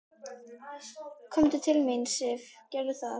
Komdu til mín, Sif, gerðu það.